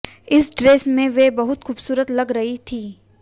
इस ड्रेस में वे बहुत खूबसूरत लग रही थी